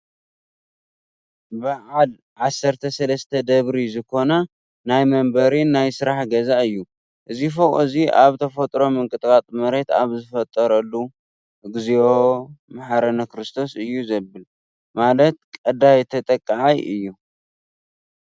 በዓል 13 ደብሪ ዝኮና ናይ መንበሪን ናይ ስራሕ ገዛ እዩ። እዚ ፎቅ እዚ ኣብ ናይ ተፈጥሮ ምቅጥቃጥ መሬት ኣብ ዝፈጠረሉ እግዚኦ! መሓረና ክሩስቶስ እዩ ዘብል ። ማለት ቀዳይ ተጠቃዓይ እዩ።